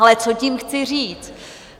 Ale co tím chci říct?